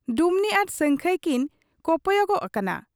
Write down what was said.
ᱰᱩᱢᱱᱤ ᱟᱨ ᱥᱟᱹᱝᱠᱷᱟᱹᱭ ᱠᱤ ᱠᱚᱯᱚᱭᱚᱜ ᱟᱠᱟᱱᱟ ᱾